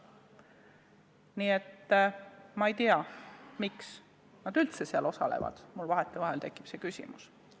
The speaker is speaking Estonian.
Nii et ma ei tea, miks nad üldse istungitel osalevad, mul vahetevahel tekib see küsimus.